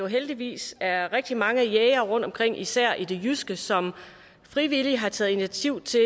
heldigvis er rigtig mange jægere rundtomkring især i det jyske som frivilligt har taget initiativ